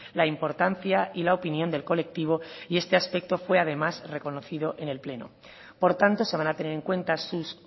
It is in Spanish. la importancia y la opinión del colectivo y este aspecto fue además reconocido en el pleno por tanto se van a tener en cuenta sus